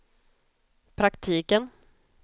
praktiken